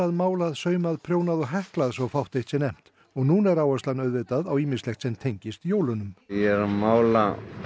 málað saumað prjónað og heklað svo fátt eitt sé nefnt núna er áherslan auðvitað á ýmislegt sem tengist jólunum ég er að mála